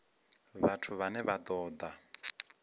vhathu vhane vha ṱo ḓa